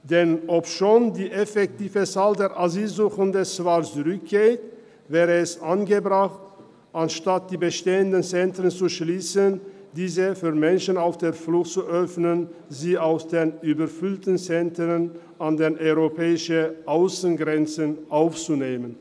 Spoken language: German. Denn obwohl die effektive Zahl der Asylsuchenden zurückgeht, wäre es angebracht, anstatt die bestehenden Zentren zu schliessen, diese für Menschen auf der Flucht zu öffnen und sie aus den überfüllten Zentren an den europäischen Aussengrenzen aufzunehmen.